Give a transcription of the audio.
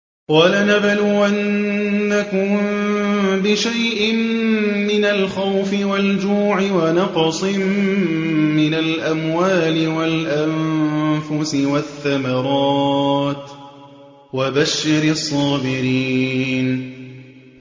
وَلَنَبْلُوَنَّكُم بِشَيْءٍ مِّنَ الْخَوْفِ وَالْجُوعِ وَنَقْصٍ مِّنَ الْأَمْوَالِ وَالْأَنفُسِ وَالثَّمَرَاتِ ۗ وَبَشِّرِ الصَّابِرِينَ